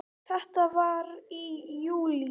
Þetta var í júlí.